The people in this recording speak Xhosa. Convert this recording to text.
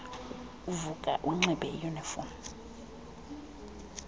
uvuka unxibe iyuniform